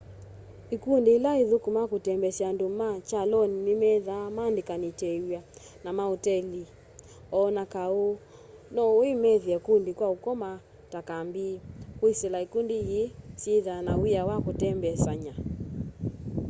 ikũndĩ ila ĩthũkũmaa kũtembesya andũ me kyalonĩ nĩmethaa maandĩkanĩtewĩa na maotelĩ o na kaũ no wĩmathĩe kũndũ kwa ũkoma ta kambĩ kwĩsĩla ĩkũndĩ ii syĩthaa na wĩa wa kũtembesanya